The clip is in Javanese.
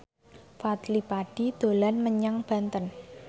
Fadly Padi dolan menyang Banten